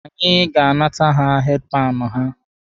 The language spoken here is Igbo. Anyị ga-anata ha heedi panụ ha.